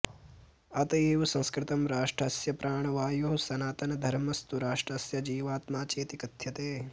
अत एव संस्कृतं राष्ट्रस्य प्राणवायुः सनातनधर्मस्तु राष्ट्रस्य जीवात्मा चेति कथ्यते